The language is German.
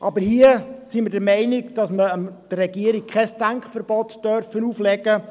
Aber hier sind wir der Meinung, man dürfe der Regierung kein Denkverbot auferlegen.